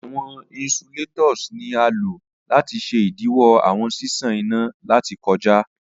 Awọn insulators ni a lo lati ṣe idiwọ awọn ṣiṣan ina lati kọja.